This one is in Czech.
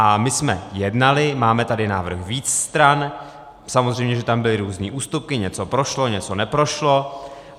A my jsme jednali, máme tady návrh více stran, samozřejmě že tam byly různé ústupky, něco prošlo, něco neprošlo.